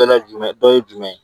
Dɔ la jumɛn dɔ ye jumɛn ye